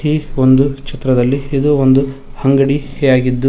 ಈ ಒಂದು ಚಿತ್ರದಲ್ಲಿ ಇದು ಒಂದು ಅಂಗಡಿ ಯಾಗಿದ್ದು--